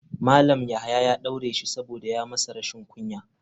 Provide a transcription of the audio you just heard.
Malam yahaya ya daure shi saboda ya masa rashin kunya.